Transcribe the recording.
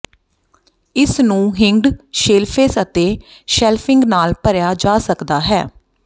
ਇਸ ਨੂੰ hinged shelves ਅਤੇ ਸ਼ੈਲਫਿੰਗ ਨਾਲ ਭਰਿਆ ਜਾ ਸਕਦਾ ਹੈ